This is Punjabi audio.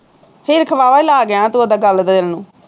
ਵਾਲਾ ਲਾ ਗਿਆਂ ਤੂੰ ਆਪਦਾ ਦੇਣ ਨੂੰ